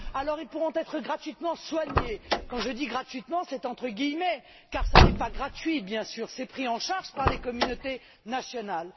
alors, ils pourront être gratuitement soignés, quand je dis gratuitement, c'est entre guillemets car cela n'est pas gratuit, bien sûr, c'est pris en charge par les communautés nationales